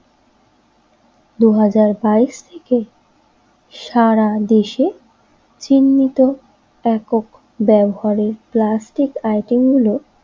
দুই হাজার বাইস থেকে সারাদেশে তো ব্যাপক ব্যবহারের প্লাস্টিক আইটেম গুলো।